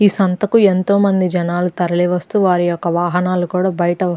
ఈ సంతకు ఎంతో మంది జనాలు తరలి వస్తూ వారి యొక్క వాహనాలు కూడా బయట --